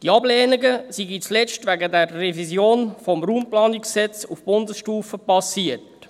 Diese Ablehnungen seien zuletzt wegen der Revision des RPG auf Bundesstufe geschehen.